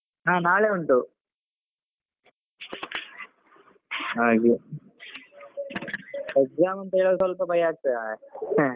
ಹಾ ನಾಳೆ ಉಂಟು ಹಾಗೆ exam ಅಂತ ಹೇಳುವಾಗ ಸ್ವಲ್ಪ ಭಯ ಆಗ್ತದೆ ಮಾರೆ .